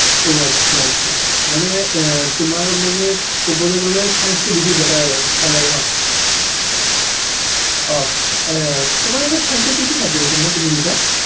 অহ আচ্ছা আচ্ছা মানে আহ তোমাৰ মানে কবলৈ গলে science টো বেছি better ভাল লাগে ন হয় অহ তোমাৰ এনে science ৰ কি কি subject আছিল তুমি কৈছা